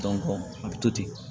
a bɛ to ten